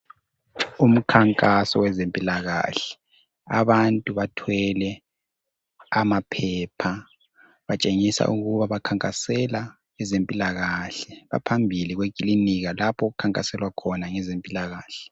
Umkhankaso wezempilakahle abantu bathwele amaphepha batshengisa ukuba bakhankasela ezempilakahle baphambili kwekilinika lapho okukhankaselwa khona ngezempilakahle.